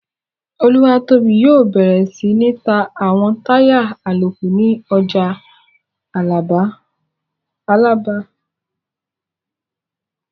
Olúwatóbi yóò bẹ̀rẹ̀ sí ní ta àwọn táyà àlòkù ní ọjà Alábà